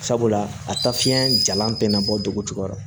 Sabula a taa fiɲɛ jalan tɛna bɔ dogo jukɔrɔ